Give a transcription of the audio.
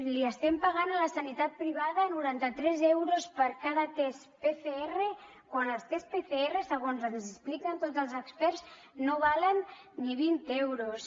li estem pagant a la sanitat privada norantatres euros per cada test pcr quan els tests pcr segons ens expliquen tots els experts no valen ni vint euros